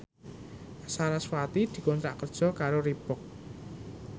sarasvati dikontrak kerja karo Reebook